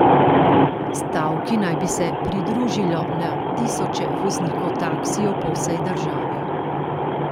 Stavki naj bi se pridružilo na tisoče voznikov taksijev po vsej državi.